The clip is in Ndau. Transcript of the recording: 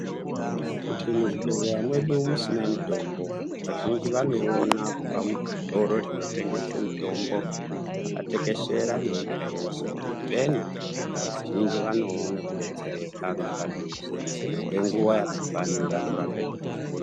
Kuti muzvibhedhlera mwedu musina mitombo, vazhinji vanoiona kubva muzvitoro zvinotengesa mitombo, zvakatekeshera ne nyika yeshe kuti peenu. Vazhinji vanoone kudetsereka ngepadhuze kwenguwa yakafanira kurapwe zvirwere.